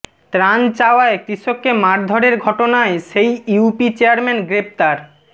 ত্রাণ চাওয়ায় কৃষককে মারধরের ঘটনায় সেই ইউপি চেয়ারম্যান গ্রেপ্তার